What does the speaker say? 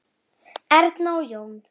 Erna og Jón.